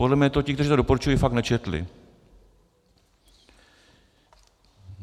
Podle mě to ti, kteří to doporučují, fakt nečetli.